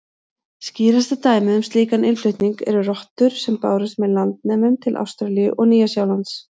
Skýrasta dæmið um slíkan innflutning eru rottur sem bárust með landnemum til Ástralíu og Nýja-Sjálands.